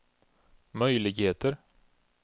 möjligheter